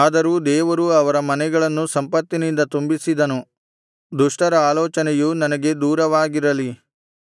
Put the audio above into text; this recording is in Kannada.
ಆದರೂ ದೇವರು ಅವರ ಮನೆಗಳನ್ನು ಸಂಪತ್ತಿನಿಂದ ತುಂಬಿಸಿದನು ದುಷ್ಟರ ಆಲೋಚನೆಯು ನನಗೆ ದೂರವಾಗಿರಲಿ